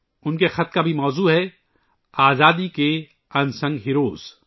ان کے خط کا موضوع بھی ہے آزادی کے غیر معروف ہیرو